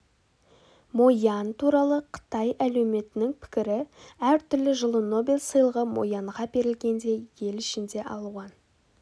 мо ян туралы қытай әлеуметінің пікірі әртүрлі жылы нобель сыйлығы мо янға берілгенде ел ішінде алуан